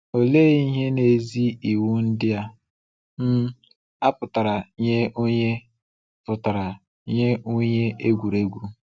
Olee ihe n’ezie iwu ndị um a pụtara nye onye pụtara nye onye egwuregwu?